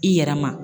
I yɛrɛ ma